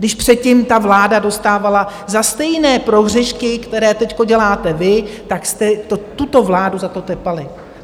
Když předtím ta vláda dostávala za stejné prohřešky, které teď děláte vy, tak jste tuto vládu za to tepali.